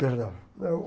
Perdão. Eu